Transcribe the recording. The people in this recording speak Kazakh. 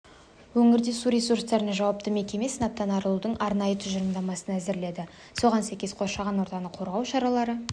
өңірде су ресурстарына жауапты мекеме сынаптан арылудың арнайы тұжырымдамасын әзірледі соған сәйкес қоршаған ортаны қорғау шаралары